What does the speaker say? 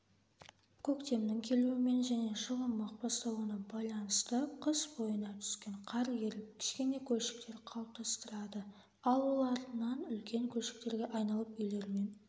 көктемнің келуімен және жылымық басталуына байланысты қыс бойына түскен қар еріп кішкене көлшіктер қалыптастырады ал ол артынан үлкен көлшіктерге айналып үйлермен